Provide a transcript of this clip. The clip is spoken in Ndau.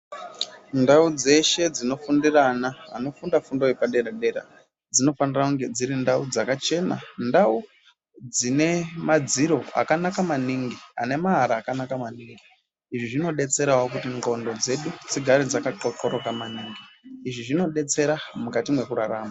Ndau dzeshe dzinofundire ana anofunda fundo yepadera-dera dzinofanira kunge dziri ndau dzakachena ndau dzine madziro akanaka maningi anemaara akanaka maningi. Izvi zvinodetserawo kuti ndxondo dzedu dzigare dzakaxoxoroka maningi. Izvi zvinodetsera mukati mwekurarama.